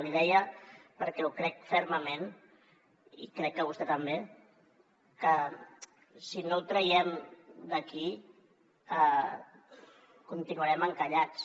l’hi deia perquè ho crec fermament i crec que vostè també que si no ho traiem d’aquí continuarem encallats